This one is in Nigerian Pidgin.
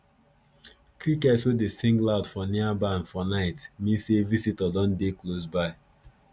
crickets wey dey sing loud for near barn for night mean say visitor don dey close by